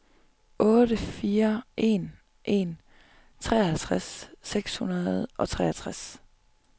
otte fire en en treoghalvtreds seks hundrede og treogtres